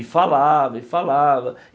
E falava, e falava.